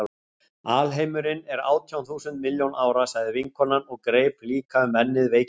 Alheimurinn er átján þúsund milljón ára, sagði vinkonan og greip líka um ennið veikindaleg.